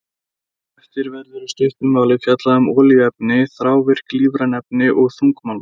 Hér á eftir verður í stuttu máli fjallað um olíuefni, þrávirk lífræn efni og þungmálma.